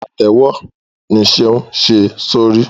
Pátèwọ ní Seun ṣe sórí.